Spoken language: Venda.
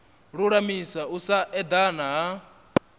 lulamisa u sa edana ha